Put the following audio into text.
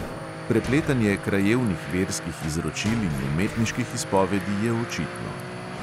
Prepletanje krajevnih verskih izročil in umetniških izpovedi je očitno.